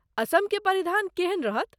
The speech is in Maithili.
असमके परिधान केहन रहत?